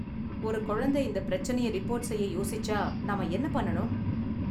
ஒரு கொழந்த இந்த பிரச்சனைய ரிப்போர்ட் செய்ய யோசிச்சா நாம என்ன பண்ணனும்?